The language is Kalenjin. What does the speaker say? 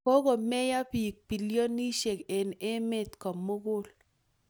kokomeyo piik bilionsiek eng emet komugul